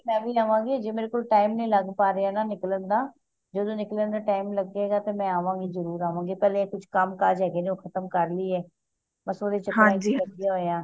ਮੈਂ ਵੀ ਆਵਾਂ ਗਈ ਅਜੇ ਮੇਰੇ ਕੋਲ time ਨੀ ਲੱਗ ਪਾ ਰੇਯਾ ਨਾ ਨਿਕਲਣ ਦਾ ਜਦੋ ਨਿਕਲਣ ਦਾ time ਲਗੇਗਾ ਤੇ ਮੈਂ ਆਵਾ ਗੀ ਜਰੂਰ ਆਵਾਂ ਗੀ ਪਹਿਲੇ ਕੁਛ ਕੰਮ ਕਾਜ ਹੈਗੇ ਨੇ ਉਹ ਖਤਮ ਕਰ ਲੀਯੇ ਬੱਸ ਓਹਦੇ ਚ ਲੱਗੇ ਹੋਏ ਆ